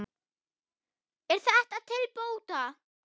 Er þetta til bóta.